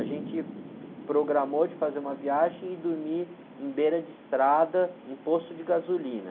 A gente programou de fazer uma viagem e dormir em beira de estrada, em posto de gasolina.